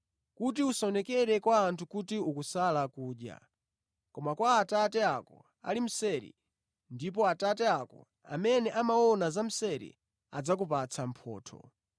kuti usaonekere kwa anthu kuti ukusala kudya koma kwa Atate ako ali mseri; ndipo Atate ako amene amaona za mseri adzakupatsa mphotho.